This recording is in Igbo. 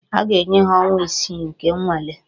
A ga-enye ha ọnwa isii nke nnwale